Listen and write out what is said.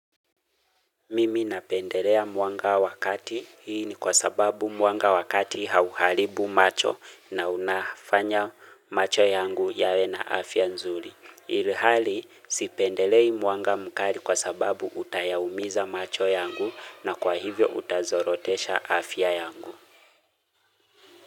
Mimi napendelea mwanga wakati. Hii ni kwa sababu mwanga wakati hauharibu macho na unafanya macho yangu yawe na afya nzuri. Ilhali sipendelei mwanga mkali kwa sababu utayaumiza macho yangu na kwa hivyo utazorotesha afya yangu.